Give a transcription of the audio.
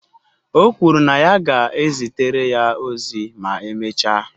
O kwuru na ya ga-ezitere ya ozi ma emechaa